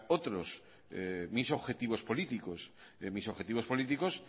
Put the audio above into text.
otros mis objetivos políticos mis objetivos políticos